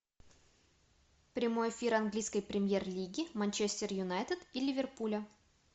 прямой эфир английской премьер лиги манчестер юнайтед и ливерпуля